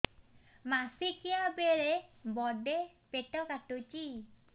ମାସିକିଆ ବେଳେ ବଡେ ପେଟ କାଟୁଚି